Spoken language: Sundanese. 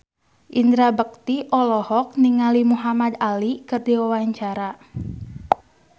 Indra Bekti olohok ningali Muhamad Ali keur diwawancara